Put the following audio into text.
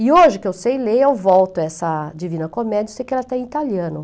E hoje, que eu sei ler, eu volto a essa Divina Comédia, sei que ela está em italiano.